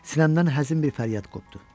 Sinəmdən həzin bir fəryad qopdu.